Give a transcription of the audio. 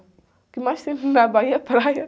O que mais tem na Bahia é praia.